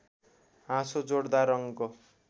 हाँसो जोडदार रङ्ग